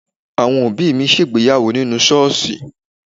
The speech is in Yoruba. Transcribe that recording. Àwọn òbí mi ṣègbéyàwó nínú ṣọ́ọ̀ṣì.